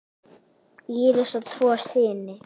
Íris á tvo syni.